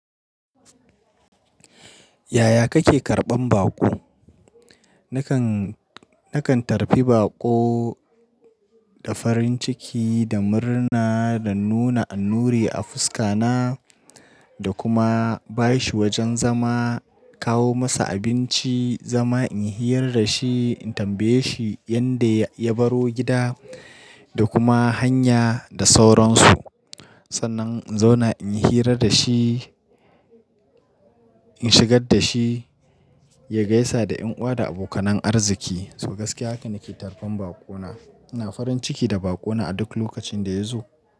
Yaya kake karɓan baƙo? Nakan, nakan tarbi baƙo da farin ciki da murna da nuna annuri a fuska na, da kuma ba shi wajen zama, kawo masa abinci, zama in hira da shi, in tambaye shi yanda ya baro gida da kuma hanya da sauransu. Sannan in zauna in hira da shi, in shigar da shi, ya gaisa da ƴan uwa da abokanan arziki. So gaskiya haka nake tarban baƙo na. Ina farin ciki da baƙo na a duk lokacin da ya zo.